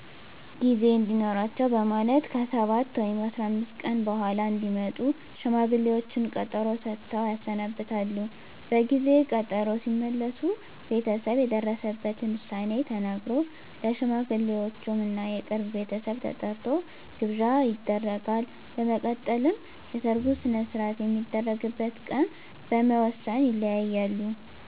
ጊዜ እንዲኖራቸው በማለት ከ7 ወይም 15 ቀን በኃላ እንዲመጡ ሽማግሌዎቹን ቀጠሮ ሰጥተው ያሰናብታሉ። በጊዜ ቀጠሮው ሲመለሱ ቤተሰብ የደረሰበትን ዉሳኔ ተናግሮ፣ ለሽማግሌወቹም እና የቅርብ ቤተሰብ ተጠርቶ ግብዣ ይደረጋል። በመቀጠልም የሰርጉ ሰነሰርአት የሚደረግበት ቀን በመወስን ይለያያሉ።